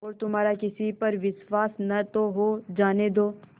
और तुम्हारा किसी पर विश्वास न हो तो जाने दो